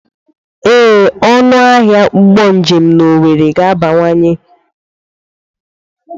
Ee, ọnụ ahịa ụgbọ njem na owerri ga-abawanye.